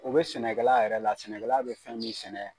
U bɛ sɛnɛkala yɛrɛ la sɛnɛkɛla bɛ fɛn min sɛnɛ